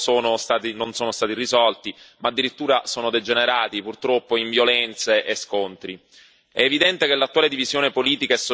I problemi allora presenti non solo non sono stati risolti ma addirittura sono degenerati, purtroppo, in violenze e scontri.